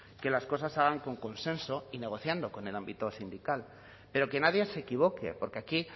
que las cosas se hagan con consenso y negociando con el ámbito sindical pero que nadie se equivoque porque aquí